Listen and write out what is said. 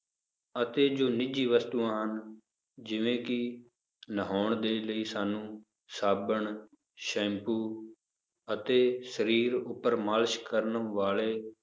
ਅਤੇ ਜੋ ਨਿੱਜੀ ਵਸਤੂਆਂ ਹਨ ਜਿਵੇਂ ਕਿ ਨਹਾਉਣ ਦੇ ਲਈ ਸਾਨੂੰ ਸਾਬਣ, ਸੈਂਪੂ, ਅਤੇ ਸਰੀਰ ਉੱਪਰ ਮਾਲਿਸ਼ ਕਰਨ ਵਾਲੇ